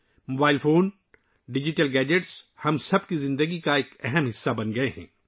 mobile phone اور digital gadgets ہر ایک کی زندگی کا ایک اہم حصہ بن چکے ہیں